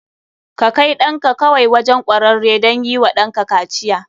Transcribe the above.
Ka kai ɗanka kawai wajen kwararre don yi wa danka kaciya.